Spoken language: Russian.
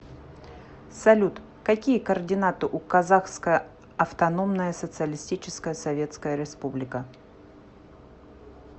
салют какие координаты у казахская автономная социалистическая советская республика